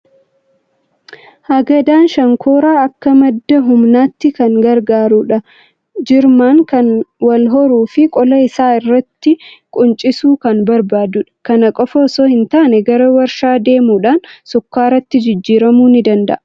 Hagadaan shonkoraa akka madda humnaatti kan gargaarudha. Jirmaan kan wal horuu fi qola isaa irraattii quncisuu kan barbaadudha. Kana qofaa osoo hin taane gara waarshaa deemuudhaan shukkaaratti jiijjiiramuu ni danda'a.